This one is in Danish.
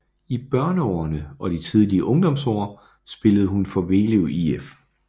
I børneårene og de tidlige ungdomsår spillede hun for Vellev IF